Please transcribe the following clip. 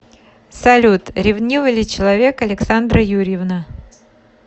салют ревнивый ли человек александра юрьевна